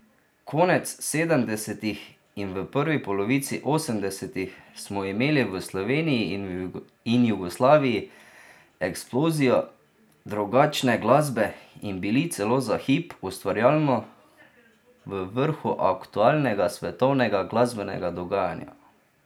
Konec sedemdesetih in v prvi polovici osemdesetih smo imeli v Sloveniji in Jugoslaviji eksplozijo drugačne glasbe in bili celo za hip ustvarjalno v vrhu aktualnega svetovnega glasbenega dogajanja.